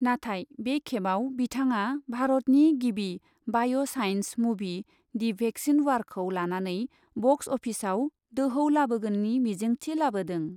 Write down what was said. नाथाय बे खेबआव बिथाङा भारतनि गिबि बाय' साइन्स मुभि दि भेक्सिन वारखौ लानानै बक्स अफिसआव दोहौ लाबोगोननि मिजिंथि लाबोदों।